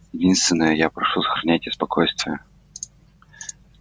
единственное я прошу сохраняйте спокойствие